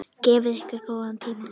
Gefið ykkur góðan tíma.